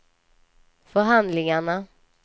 förhandlingarna